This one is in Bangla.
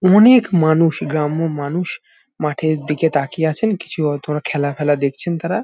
অনেক মানুষ গ্রাম্য মানুষ মাঠের দিকে তাকিয়ে আছেন কিছু হয়তো বা খেলা ফেলা দেখছেন তারা।